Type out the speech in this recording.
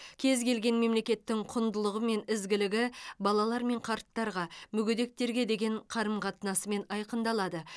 кез келген мемлекеттің құндылығы мен ізгілігі балалар мен қарттарға мүгедектерге деген қарым қатынасымен айқындалады